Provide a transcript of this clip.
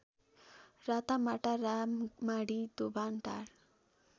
रातमाटा राममाढी दोभानटार